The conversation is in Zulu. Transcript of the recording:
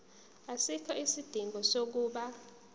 asikho isidingo sokuba